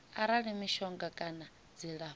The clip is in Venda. arali mishonga kana dzilafho ḽo